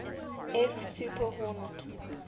f super hornet